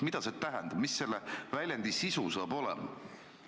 Mida see tähendab, mis selle väljendi sisu saab olema?